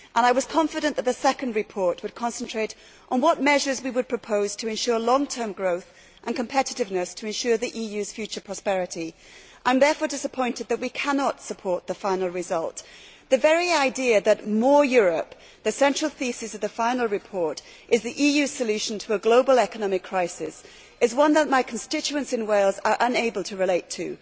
I was confident that the second report would concentrate on what measures we would propose to ensure long term growth and competitiveness in order to ensure the EU's future prosperity. I am disappointed, therefore, that we cannot support the final result. The very idea that more Europe' the central thesis of the final report is the EU solution to a global economic crisis is one that my constituents in Wales are unable to relate to.